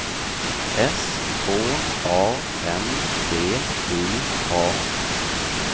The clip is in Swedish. S K A N D I A